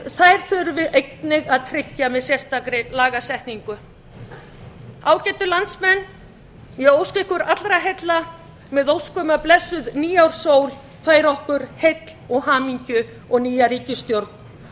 þær þurfum við einnig að tryggja með sérstakri lagasetningu ágætu landsmenn ég óska ykkur allra heilla með ósk um að blessuð nýárssól færi okkur heill og hamingju og nýja ríkisstjórn það verður